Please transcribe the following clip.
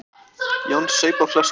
Jón saup á flöskunni.